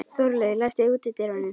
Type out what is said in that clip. Þorlaug, læstu útidyrunum.